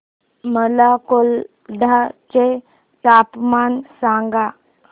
मला कोलाड चे तापमान सांगा